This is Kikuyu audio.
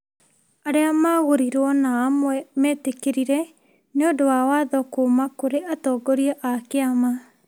arĩa magũrirwo na amwe mĩtĩkĩrĩre nĩ ũndũ wa watho kuuma kũrĩ atongoria a kĩama.